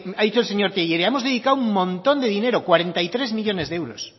ha dicho el señor tellería que hemos dedicado un montón de dinero cuarenta y tres millónes de euros